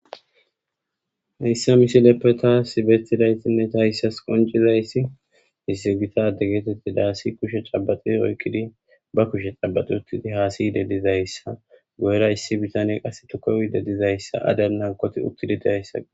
hayssa misileppe taasi bettidaytinneta hayssas qoncizayssi hissigita adegeetetti daasi kushe cabaxi oykkidi ba kushe xabaxi uttidi haasiyide dizayssa goyra issi bitane qass tukowide dizayssa adal nankoti uttidi diayssa